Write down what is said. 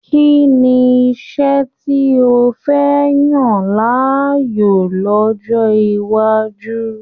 Kínní iṣẹ tí o fẹ yan láàyò l'ọjọ iwájú?